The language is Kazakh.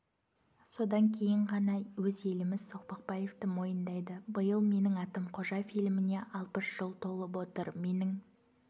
содан кейін ғана өз еліміз соқпақбаевті мойындайды биыл менің атым қожа фильміне алпыс жыл толып отыр менің